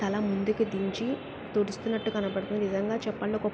తల ముందుకు దించి తుడుస్తున్నట్టు కనపడుతుంది.నిజంగా చెప్పండి.ఒక